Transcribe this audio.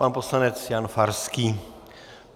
Pan poslanec Jan Farský.